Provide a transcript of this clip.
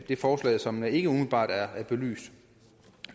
det forslag som ikke umiddelbart er belyst